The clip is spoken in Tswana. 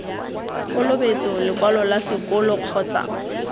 kolobetso lekwalo la sekolo kgotsa